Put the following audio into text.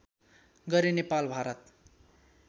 Gaire Nepal Bharat